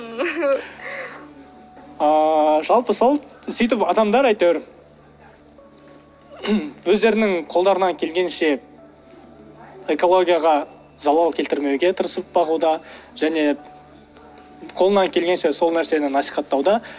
ыыы жалпы сол сөйтіп адамдар әйтеуір өздерінің қолдарынан келгенінше экологияға залал келтірмеуге тырысып бағуда және қолынан келгенше сол нәрсені насихаттауда